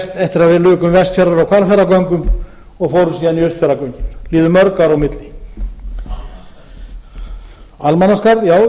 eftir að við lukum vestfjarða og hvalfjarðargöngum og fórum áðan í austfjarðagöngin það liðu mörg ár á milli almannaskarð já ég gleymdi